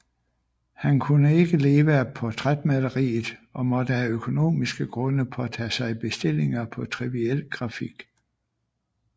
Han kunne ikke leve af portrætmaleriet og måtte af økonomiske grunde påtage sig bestillinger på triviel grafik